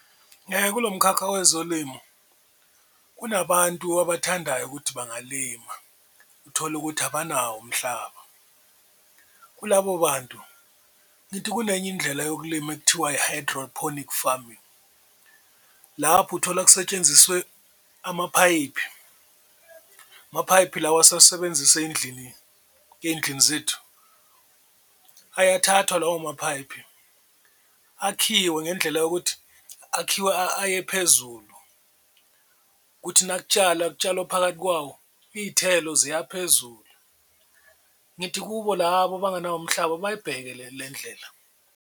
Kulo mkhakha wezolimo kunabantu abathandayo ukuthi bangalima uthole ukuthi abanawo umhlaba kulabo bantu ngithi kunenye indlela yokulima ekuthiwa i-hydrophonic farming, lapho uthola kusetshenziswe amaphayipi amaphayipi lawa esuwasebenzisa ey'ndlini ey'ndlini zethu. Ayakathathwa lawo maphayipi akhiwe ngendlela yokuthi akhiwa aye phezulu kuthi nakutshalwa kutshalwa phakathi kwawo, iy'thelo ziya phezulu, ngithi kubo labo abangenawo umhlaba bayibheke le ndlela.